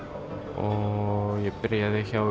og ég byrjaði hjá